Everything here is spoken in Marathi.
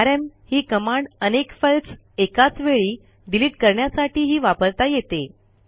आरएम ही कमांड अनेक फाईल्स एकाच वेळी डिलिट करण्यासाठीही वापरता येते